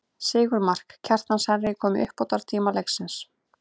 Sigurmark, Kjartans Henry kom í uppbótartíma leiksins.